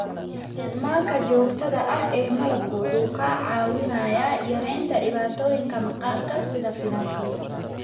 Isticmaalka joogtada ah ee malabku wuxuu kaa caawinayaa yaraynta dhibaatooyinka maqaarka sida finanka.